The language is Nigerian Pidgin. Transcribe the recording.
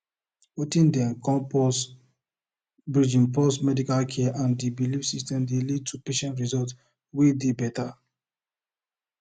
weting dem dey call pause bridging pause medical care and the belief systems dey lead to patient results wey dey better